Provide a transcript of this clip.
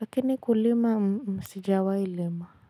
lakini kulima sijawailima.